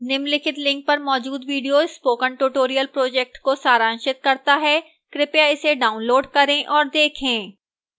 निम्नलिखित link पर मौजूद video spoken tutorial project को सारांशित करता है कृपया इसे डाउनलोड करें और देखें